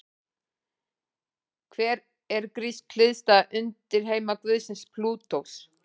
Hver er grísk hliðstæða undirheimaguðsins Plútós?